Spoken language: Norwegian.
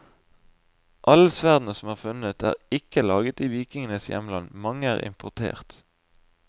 Alle sverdene som er funnet, er ikke laget i vikingenes hjemland, mange er importert.